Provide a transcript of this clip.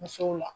Musow la